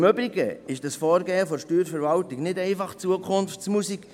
Im Übrigen handelt es sich beim Vorgehen der Steuerverwaltung nicht um Zukunftsmusik.